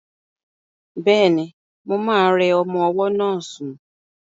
Bẹ́ẹ̀ni, mo ma rẹ ọmọ ọwọ́ náà sún